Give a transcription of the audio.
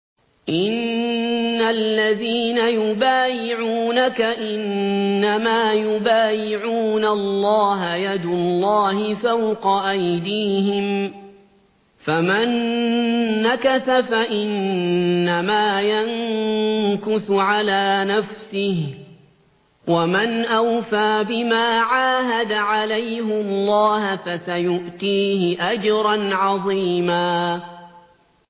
إِنَّ الَّذِينَ يُبَايِعُونَكَ إِنَّمَا يُبَايِعُونَ اللَّهَ يَدُ اللَّهِ فَوْقَ أَيْدِيهِمْ ۚ فَمَن نَّكَثَ فَإِنَّمَا يَنكُثُ عَلَىٰ نَفْسِهِ ۖ وَمَنْ أَوْفَىٰ بِمَا عَاهَدَ عَلَيْهُ اللَّهَ فَسَيُؤْتِيهِ أَجْرًا عَظِيمًا